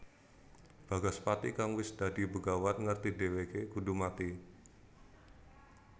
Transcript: Bagaspati kang wis dadi begawan ngerti dhèwèké kudu mati